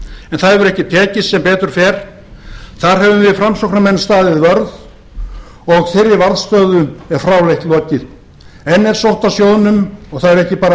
en það hefur ekki tekist sem betur fer þar höfum við framsóknarmenn staðið vörð og þeirri varðstöðu er fráleitt lokið enn er sótt að sjóði þessum og það eru ekki bara